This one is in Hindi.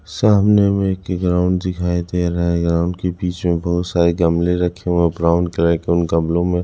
सामने में एक ग्राउंड दिखाई दे रहा है ग्राउंड के बीच में बहुत सारे गमले रखे हुए हैं ब्राउन कलर के उन गमलों में--